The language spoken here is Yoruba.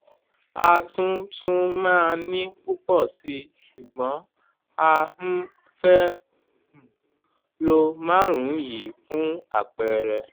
a tún tún màa ní pùpọ̀ síi ṣùgbọ́n a um fẹ́ um lo márùn-ún yìí fún àpẹẹrẹ